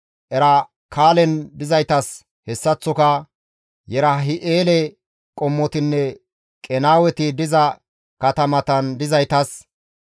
Erakkalen dizaytas hessaththoka Yerahim7eele qommotinne Qenaaweti diza katamatan dizaytas,